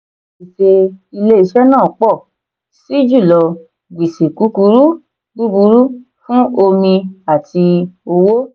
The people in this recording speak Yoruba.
gbèsè ilé-iṣẹ́ náà pọ̀ sí jùlọ gbèsè kúkúrú burúkú fún omi àti owó.